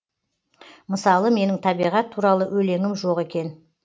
мысалы менің табиғат туралы өлеңім жоқ екен